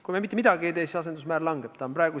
Kui me ka mitte midagi ei tee, asendusmäär langeb!